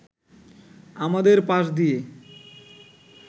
আমাদের পাশ দিয়ে